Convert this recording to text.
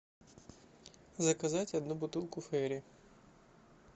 заказать одну бутылку фейри